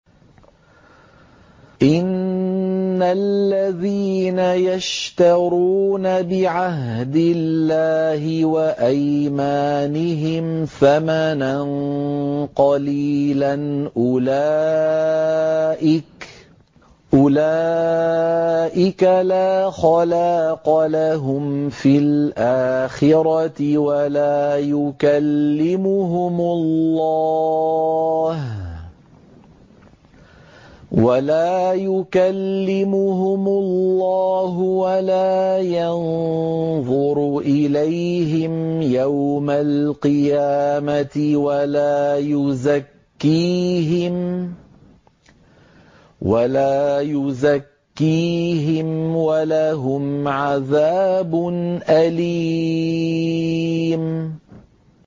إِنَّ الَّذِينَ يَشْتَرُونَ بِعَهْدِ اللَّهِ وَأَيْمَانِهِمْ ثَمَنًا قَلِيلًا أُولَٰئِكَ لَا خَلَاقَ لَهُمْ فِي الْآخِرَةِ وَلَا يُكَلِّمُهُمُ اللَّهُ وَلَا يَنظُرُ إِلَيْهِمْ يَوْمَ الْقِيَامَةِ وَلَا يُزَكِّيهِمْ وَلَهُمْ عَذَابٌ أَلِيمٌ